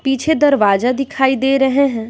पीछे दरवाजा दिखाई दे रहे हैं।